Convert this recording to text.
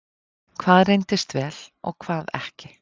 Hvað reyndist vel og hvað ekki?